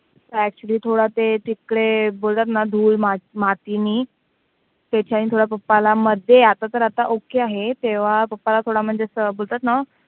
actually थोडं ते तिकडे बोलतात ना धूळ, माती मातीनी त्याचेनि थोडं papa ला मध्ये, आता तर आता okay आहे तेव्हा papa ला थोडं म्हणजे असं होतं ना